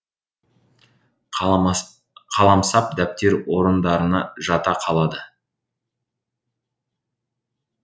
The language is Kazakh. қаламсап дәптер орындарына жата қалады